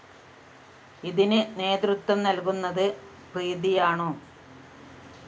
ഇതിന് നേതൃത്വം നല്‍കുന്നത് പ്രീതിയാണോ?